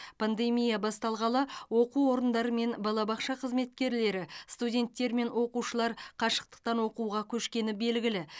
пандемия басталғалы оқу орындары мен балабақша қызметкерлері студенттер мен оқушылар қашықтан оқытуға көшкені белгілі